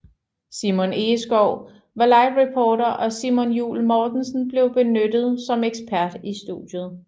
Simon Egeskov var livereporter og Simon Juul Mortensen blev benyttet som ekspert i studiet